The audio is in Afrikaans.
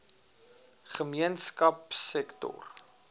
gemeenskapsektor